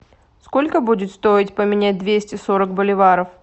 сколько будет стоить поменять двести сорок боливаров